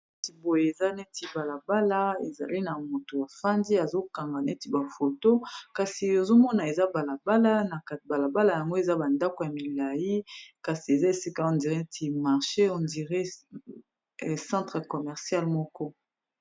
Boye eza neti balabala ezali na mutu bafandi azokanga neti ba photo kasi ozomona eza balabala na kati balabala yango eza bandako ya milayi kasi eza esika on dire marché on dire centre commercial moko.